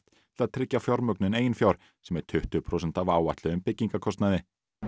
til að tryggja fjármögnun sem er tuttugu prósent af áætluðum byggingarkostnaði